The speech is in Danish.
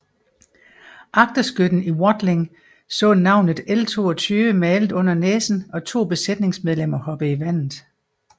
Agterskytten Whatling så navnet L 22 malet under næsen og 2 besætningsmedlemmer hoppe i havet